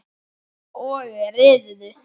Og riðuðu.